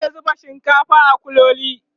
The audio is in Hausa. zata zuba shinkafar a kuloli